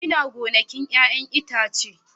Ina gonakin 'ya'yan itace